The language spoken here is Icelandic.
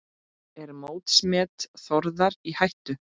Er mótsmet Þórðar í hættu?